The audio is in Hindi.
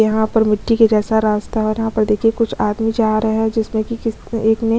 यहाँ पर मिट्टी के जैसा रास्ता और यहाँ पर देखिए कुछ आदमी जा रहे है जिसमें की किसी एक ने --